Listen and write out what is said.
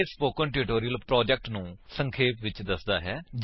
ਇਹ spoken tutorial project ਨੂੰ ਸੰਖੇਪ ਵਿਚ ਦਸਦਾ ਹੈ